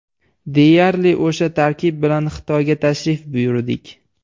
Deyarli o‘sha tarkib bilan Xitoyga tashrif buyurdik.